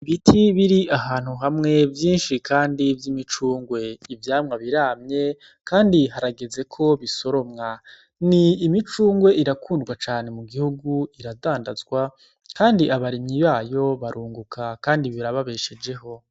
Ibiti biri ahantu hamwe vyinshi, kandi vy' imicungwe ivyamwa biramye, kandi haragezeko bisoromwa ni imicungwe irakundwa cane mu gihugu iradandazwa, kandi abaremyi bayo barunguka, kandi birababeshejeho.